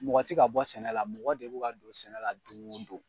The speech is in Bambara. Mɔgɔ ti ka bɔ sɛnɛ la mɔgɔ de bu ka don sɛnɛ la doŋo don.